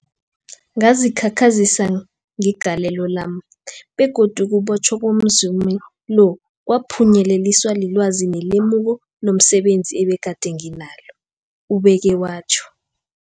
Ngazikhakhazisa ngegalelo lami, begodu ukubotjhwa komzumi lo kwaphunyeleliswa lilwazi nelemuko lomse benzi ebegade nginalo, ubeke watjho.